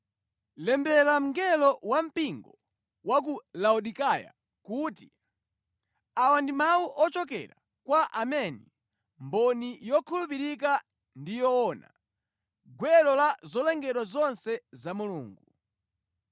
“Lembera mngelo wampingo wa ku Laodikaya kuti: Awa ndi mawu ochokera kwa Ameni, mboni yokhulupirika ndi yoona, gwero la zolengedwa zonse za Mulungu.